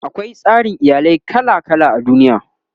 akwai tsarin iyalai kala kala a duniya